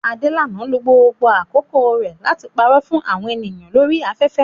Adelana lo gbogbo àkókò rẹ̀ láti parọ́ fún àwọn ènìyàn lórí afẹ́fẹ́